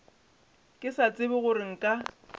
ke sa tsebe gore nka